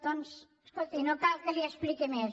doncs escolti no cal que li ho expliqui més